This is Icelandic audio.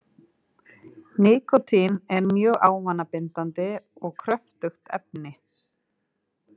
Nikótín er mjög ávanabindandi og kröfugt efni.